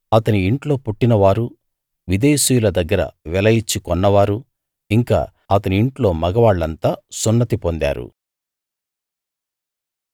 అతని ఇంట్లో పుట్టినవారూ విదేశీయుల దగ్గర వెల ఇచ్చి కొన్నవారూ ఇంకా అతని ఇంట్లో మగవాళ్ళంతా సున్నతి పొందారు